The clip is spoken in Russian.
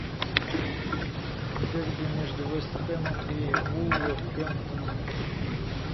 дерби между вест хэмом и вулверхэмптоном